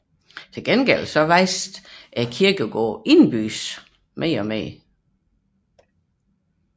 Til gengæld voksede den indenbys kirkegård støt